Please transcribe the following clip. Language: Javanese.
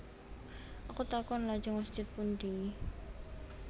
Aku takon Lajeng masjid pundi